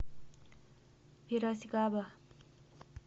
пирасикаба